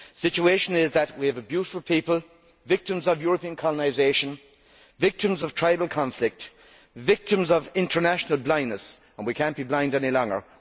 The situation is that we have a beautiful people, victims of European colonisation, victims of tribal conflict, victims of international blindness, and we cannot be blind any longer.